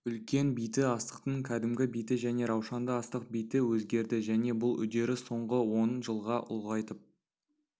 үлкен биті астықтың кәдімгі биті және раушанды астық биті өзгерді және бұл үдеріс соңғы он жылда ұлғайып